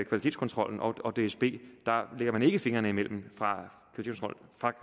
kvalitetskontrollen og dsb lægger man ikke fingrene imellem